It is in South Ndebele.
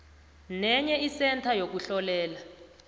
nenye isentha yokuhlolela